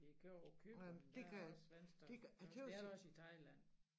Ikke og Cypern der er også venstre faktisk det er der også i Thailand